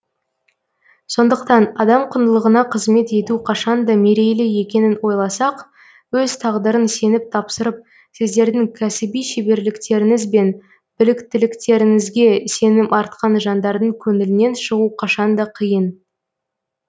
сондықтан адам құндылығына қызмет ету қашанда мерейлі екенін ойласақ өз тағдырын сеніп тапсырып сіздердің кәсіби шеберліктеріңіз бен біліктіліктеріңізге сенім артқан жандардың көңілінен шығу қашанда қиын